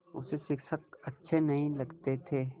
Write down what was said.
उसे शिक्षक अच्छे नहीं लगते थे